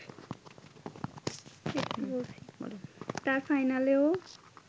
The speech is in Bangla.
তার ফাইনালেও